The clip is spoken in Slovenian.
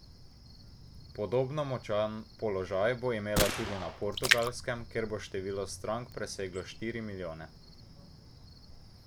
Podobno močan položaj bo imela tudi na Portugalskem, kjer bo število strank preseglo štiri milijone.